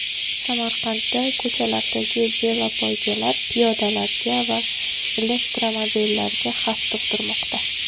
Samarqandda ko‘chalardagi velopoygalar piyodalarga va elektromobillarga xavf tug‘dirmoqda.